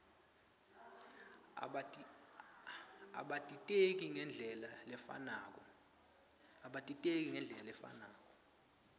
abatiteki ngendlela lefanako